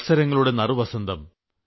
മത്സരങ്ങളുടെ നറുവസന്തം